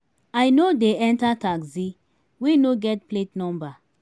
i no dey enta taxi wey no get plate number.